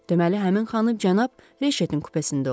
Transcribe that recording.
Deməli, həmin xanım cənab Reçetin kupesində olub.